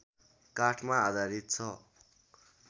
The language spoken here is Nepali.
काठमा आधारित छ